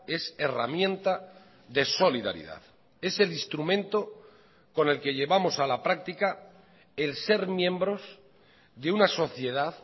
es herramienta de solidaridad es el instrumento con el que llevamos a la práctica el ser miembros de una sociedad